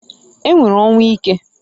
E nwere ọnwụ ike.